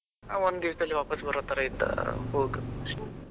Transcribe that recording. ಒಂದು ದಿವಸದಲ್ಲಿ ವಾಪಸ್ ಬರೋತರ ಇದ್ದ ಹೋಗ್.